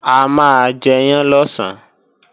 A máa jẹyán lọ̀sán